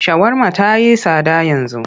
Shawarma ta yi tsada yanzu.